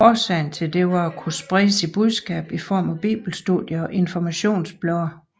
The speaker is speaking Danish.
Årsagen til dette var for at kunne spride sit budskab i form af Bibelstudier og informationsblade